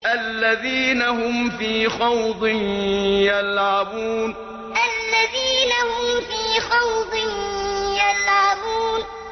الَّذِينَ هُمْ فِي خَوْضٍ يَلْعَبُونَ الَّذِينَ هُمْ فِي خَوْضٍ يَلْعَبُونَ